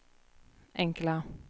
enkla